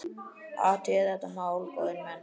Athugið þetta mál, góðir menn!